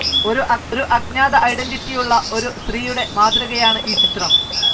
ഒരു അജ്ഞാത ഐഡൻറിറ്റിയുള്ള ഒരു സ്ത്രീയുടെ മാതൃകയാണ് ഈ ചിത്രം.